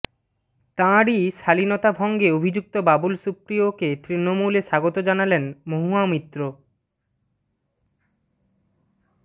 তাঁরই শালীনতাভঙ্গে অভিযুক্ত বাবুল সুপ্রিয়কে তৃণমূলে স্বাগত জানালেন মহুয়া মৈত্র